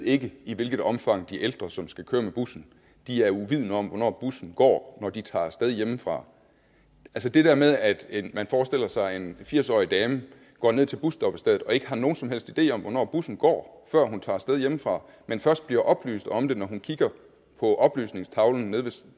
ikke ved i hvilket omfang de ældre som skal køre med bussen er uvidende om hvornår bussen går når de tager af sted hjemmefra det der med at man forestiller sig at en firs årig dame går ned til busstoppestedet og ikke har nogen som helst idé om hvornår bussen går før hun tager af sted hjemmefra men først bliver oplyst om det når hun kigger på oplysningstavlen nede